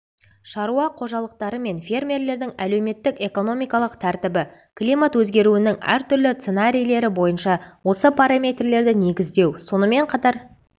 шаруа қожалықтары мен фермерлердің әлеуметтік-экономикалық тәртібі климат өзгеруінің әртүрлі сценарийлері бойынша осы параметрлерді негіздеу сонымен қатар